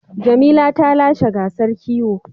Jamila ta lashe gasar kiwo.